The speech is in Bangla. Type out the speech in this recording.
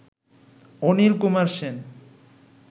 অনিল কুমার সেন